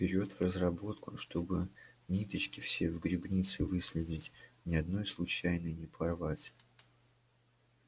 берет в разработку чтобы ниточки все в грибнице выследить ни одной случайно не порвать